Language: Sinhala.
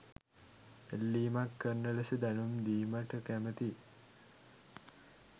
ඉල්ලීමක් කරන ලෙස දැනුම් දීමට කැමැතියි.